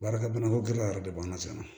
Baarakɛ bonya ko gɛlɛya yɛrɛ de b'an na cɛna